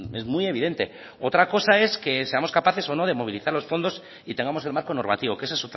es muy evidente otra cosa es que seamos capaces o no de movilizar los fondos y tengamos el marco normativo que esa